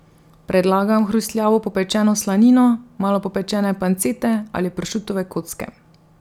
Predlagam hrustljavo popečeno slanino, malo popečene pancete ali pršutove kocke.